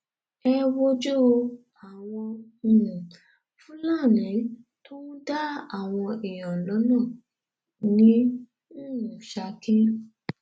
ẹ wojú àwọn um fúlàní tó ń dá àwọn èèyàn lọnà ní um ṣákì